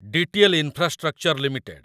DTL infrastructure limited